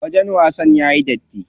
Wajen wasan yayi datti.